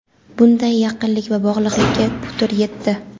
bunday yaqinlik va bog‘liqlikka putur yetdi.